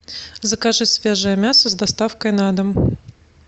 закажи свежее мясо с доставкой на дом